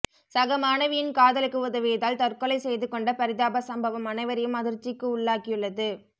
சக மாணவியின் காதலுக்கு உதவியதால் தற்கொலை செய்துக் கொண்ட பரிதாப சம்பவம் அனைவரையும் அதிர்ச்சிக்கு உள்ளாக்கியுள்ளது